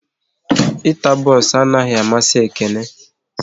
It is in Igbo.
Ịta bons anaghị amasi Ekene